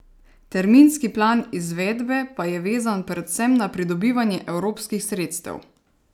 Terminski plan izvedbe pa je vezan predvsem na pridobivanje evropskih sredstev.